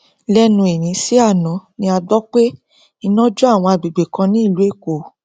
lẹnu òní sí àná ni a gbọ pé iná jó àwọn agbègbè kan ní ìlú èkó